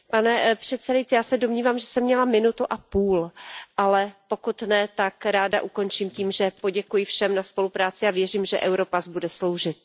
Pane předsedající, já se domnívám, že jsem měla minutu a půl, ale pokud ne, tak ráda ukončím tím, že poděkuji všem za spolupráci, a věřím, že Europass bude sloužit.